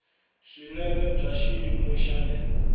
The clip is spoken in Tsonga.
swinene bya xiyimo xa le